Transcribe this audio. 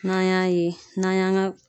N'an y'a ye n'an y'an ga